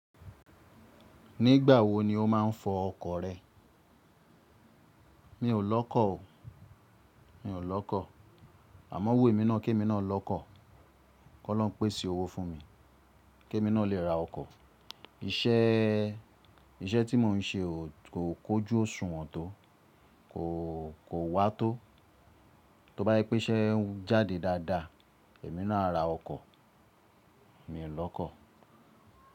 Nígbà wo ni o máa ń fọ ọkọ̀ rẹ? Mi ò lọ́kọ̀ o, mi ò lọ́kọ̀. Àmọ́ o wù èmi náà kí èmi náà lọ́kọ̀. K'ọ́lọ́run pèsè owó fún mi kí èmi náà lè ra ọkọ̀. Iṣẹ́, iṣẹ́ tí mò ń ṣe o kò kójú òṣùwọ̀n tó, kò, kò wá tó. Tóbá yipé iṣẹ́ ń jáde dáadáa, èmi náà á ra ọkọ̀. Mi ò lọ́kọ̀